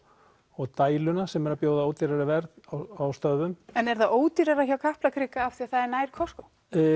og dæluna sem eru að bjóða ódýrari verð á stöðvum en er það ódýrara hjá Kaplakrika af því það er nær Costco